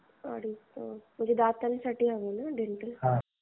अडीचला म्हणजे दातांची आहे ना अपॉईण्टमेन्ट?